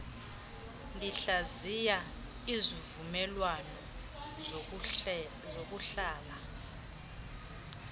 ndihlaziya isivumelwano sokuhlala